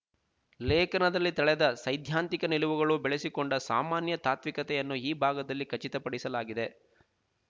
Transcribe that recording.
ಲೇಖನದಲ್ಲಿ ತಳೆದ ಸೈದ್ಧಾಂತಿಕ ನಿಲುವುಗಳನ್ನು ಬೆಳೆಸಿಕೊಂಡ ಸಾಮಾನ್ಯ ತಾತ್ವಿಕತೆಯನ್ನು ಈ ಭಾಗದಲ್ಲಿ ಖಚಿತಪಡಿಸಲಾಗಿದೆ